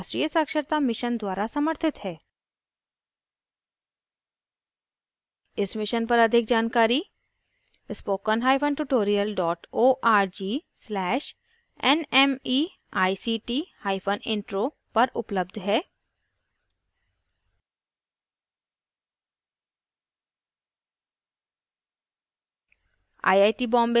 इस मिशन पर अधिक जानकारी